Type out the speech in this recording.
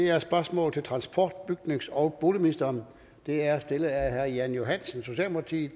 er et spørgsmål til transport bygnings og boligministeren og det er stillet af herre jan johansen socialdemokratiet